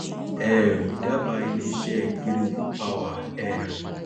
um ìdábàá iléiṣẹ geregu power um